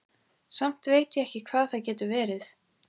Samt veit ég ekki hvað það getur verið.